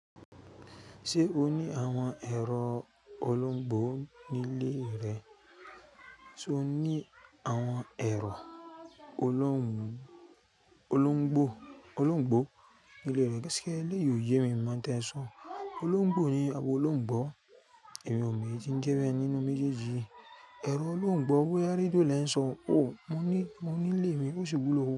Ṣé o ní àwọn ẹ̀rọ olóńgbò nílé rẹ? Sé o ní àwọn ẹ̀rọ olóńg-olóńgbò-olóńgbò nílé rẹ eleyii ò yé mi mọ̀, no tí ẹ ń sọ. Olóńgbò ni àbi olóńgbò. Emí ò mọ̀ èyí ti ń jẹ́ nínú méjèèjì yii ẹ̀rọ olóńgbò boya redio ni e ń sọ. Ó, mo ní, mo ní nilé mi, ó sì wulo.